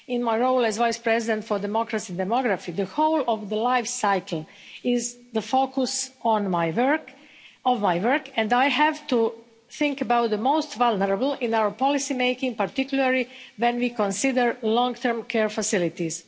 In my role as Vice-President for Democracy and Demography, the whole of the live cycle is the focus of my work, and I have to think about the most vulnerable in our policy making, particularly when we consider long term care facilities.